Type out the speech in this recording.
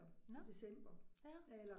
Nåh ja